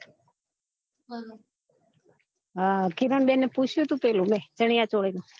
હ કિરણ બેન ને પૂછ્યું તે પીલુ ચણીયોચોલી નું